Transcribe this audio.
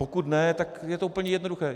Pokud ne, tak je to úplně jednoduché.